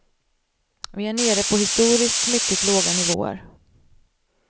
Vi är nere på historiskt mycket låga nivåer.